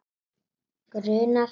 Grunar hann mig?